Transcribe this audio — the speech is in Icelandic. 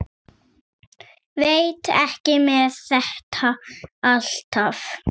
Veit ekki með þetta alltaf.